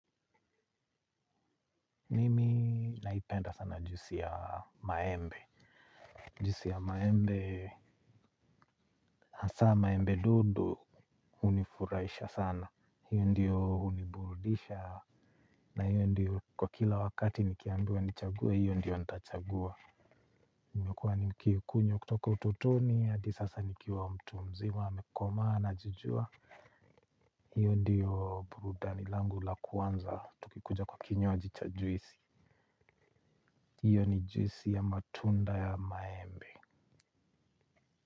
Mimi naipenda sana juisi ya maembe. Juisi ya maembe, hasa maembe dodo hunifuraisha sana. Hiyo ndiyo huniburudisha na hiyo ndiyo kwa kila wakati nikiambiwa nichague hiyo ndiyo ntachagua imekuwa nikiikunywa kutoka utotoni hadi sasa nikiwa mtu mzima amekomaa anajijua. Hiyo ndiyo burudani langu la kwanza tukikuja kwa kinywaji cha juisi. Hiyo ni juisi ya matunda ya maembe.